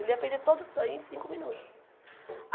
Ele ia perder todo o sangue em cinco minutos.